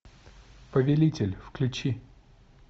повелитель включи